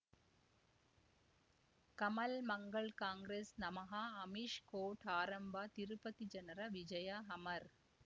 ಕಮಲ್ ಮಂಗಳ್ ಕಾಂಗ್ರೆಸ್ ನಮಃ ಅಮಿಷ್ ಕೋರ್ಟ್ ಆರಂಭ ತಿರುಪತಿ ಜನರ ವಿಜಯ ಅಮರ್